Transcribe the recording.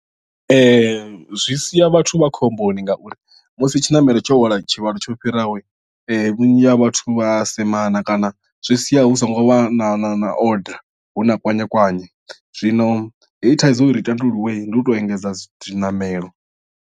Zwi sia vhathu vha khomboni ngauri musi tshiṋamelo tsho hwala tshivhalo tsho fhiraho vhunzhi ha vhathu vha semana kana zwi sia hu so ngo vha na na na order hu na kwanye kwanye zwino heyi thaidzo uri i tandululwe ndi u tou engedza zwiṋamelo.